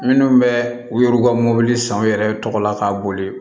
Minnu bɛ u yɛrɛ ka mɔbili san u yɛrɛ tɔgɔla ka boli